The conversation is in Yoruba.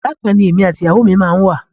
Yàrá kan ni èmi àti ìyàwó mi máa ń wà.